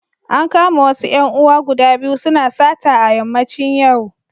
An kama wasu ‘yan uwa guda biyu suna sata a yammacin yau.